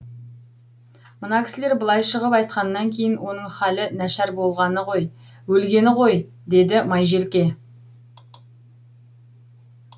мына кісілер былай шығып айтқаннан кейін оның халі нашар болғаны ғой өлгені ғой деді майжелке